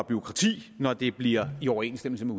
bureaukrati når det bliver i overensstemmelse